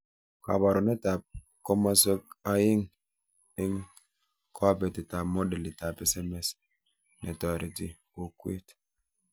Kabarunetab komoswek aeng eng cobetab modelitab SMS netoreti kokwet